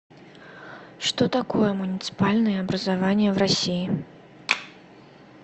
что такое муниципальные образования в россии